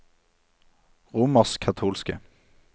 romerskkatolske